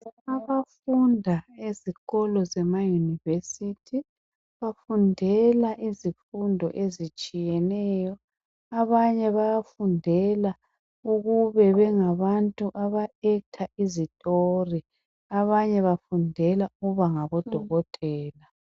Abafunda ezikolo zema university bafundela izifundo ezitshiyeneyo abanye bayafundela ukube bengabantu aba act izitori, abanye bafundela ngabodokotela.